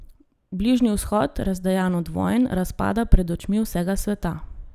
Bližnji vzhod, razdejan od vojn, razpada pred očmi vsega sveta.